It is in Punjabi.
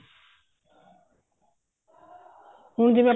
ਹੁਣ ਜਿਵੇਂ